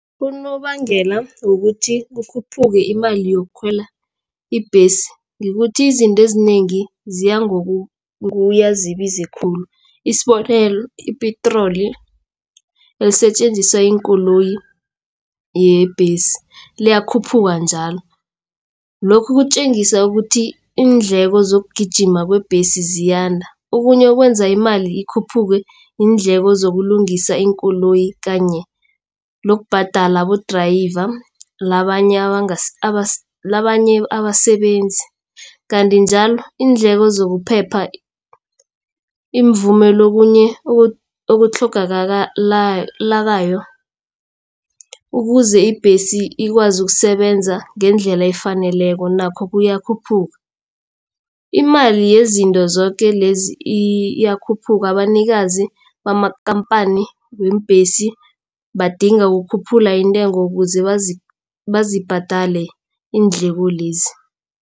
Unobangela wokuthi kukhuphuke imali yokukhwela ibhesi kukuthi izinto ezinengi ziyangokuya zibiza khulu. Isibonelo ipetroli esetjenziswa yiinkoloyi yebhesi liyakhuphuka njalo. Lokhu kutjengisa ukuthi iindleko zokugijima kwebhesi ziyanda. Okunye okwenza imali ikhuphuke iindleko zokulungisa iinkoloyi kanye nokubhadela abo-driver nabanye abasebenzi. Kanti njalo iindleko zokuphepha ukuze ibhesi ikwazi ukusebenza ngendlela efaneleko nakho kuyakhuphuka. Imali yezinto zoke lezi iyakhuphuka abanikazi bamakhamphani weembhesi badinga ukukhuphula intengo ukuze bazibhadele iindleko lezi.